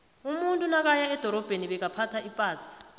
umuntu nakaya edorabheni bekaphtha ipasa